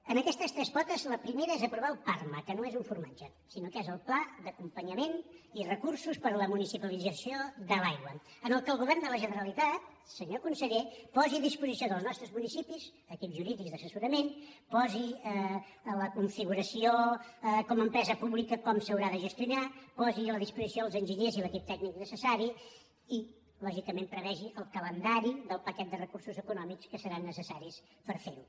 d’aquestes tres potes la primera és aprovar el parma que no és un formatge sinó que és el pla d’acompanyament i recursos per a la municipalització de l’aigua en què el govern de la generalitat senyor conseller posi a disposició dels nostres municipis equips jurídics d’assessorament posi la configuració com a empresa pública com s’haurà de gestionar posi a la disposició els enginyers i l’equip tècnic necessari i lògicament prevegi el calendari del paquet de recursos econòmics que seran necessaris per fer ho